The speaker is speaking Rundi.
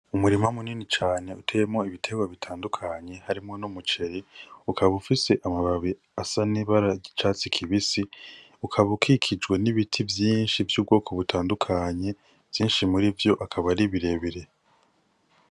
Umurima munini cane uteyemo ibitewa bitandukanye harimwo no mucere ukaba ufise amababe asa n'ibaragicatsi kibisi ukaba ukikijwe n'ibiti vyinshi vy'ubwoko butandukanye vyinshi muri vyo akaba ari birebire.